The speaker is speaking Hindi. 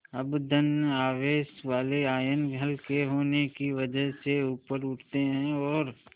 अब धन आवेश वाले आयन हल्के होने की वजह से ऊपर उठते हैं और